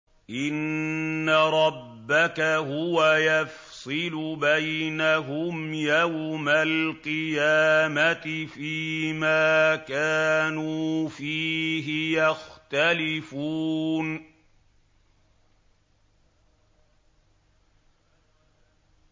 إِنَّ رَبَّكَ هُوَ يَفْصِلُ بَيْنَهُمْ يَوْمَ الْقِيَامَةِ فِيمَا كَانُوا فِيهِ يَخْتَلِفُونَ